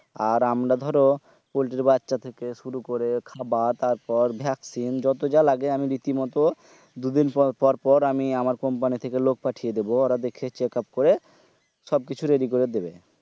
আর আমরা ধরো পোল্টির বাচ্চা থেকে শুরু করে খাবার তারপর vaccine যত যা লাগে আমি রীতি মতো দু দিন পর পর আমার company থেকে লোক পাঠিয়ে দিবো োর দেখে checkup করে সব কিছু ready করে দেবে